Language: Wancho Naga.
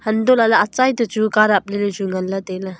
antola le achai toh chu ka taple le chu nganle taile.